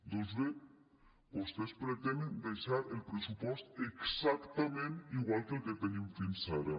doncs bé vostès pretenen deixar el pressupost exactament igual que el que tenim fins ara